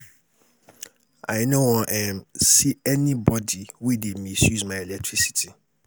I no wan um see anybody wey dey misuse my electricity